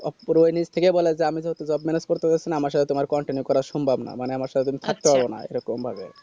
অপূর্ব নিজ থেকেই বলা হয়েছে আমি যেহেতু jobe manage করতে পারসি না আমার সাথে তোমার continue করা সম্ভব না মানে আমার সাথে তুমি থাকতে পারবে না এরকম ভাবে